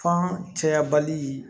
Fan cɛyabali